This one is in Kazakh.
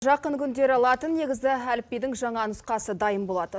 жақын күндері латын негізді әліпбидің жаңа нұсқасы дайын болады